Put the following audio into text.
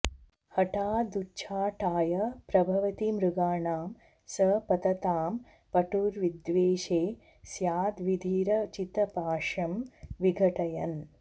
हठादुच्चाटाय प्रभवति मृगाणां स पततां पटुर्विद्वेषे स्याद्विधिरचितपाशं विघटयन्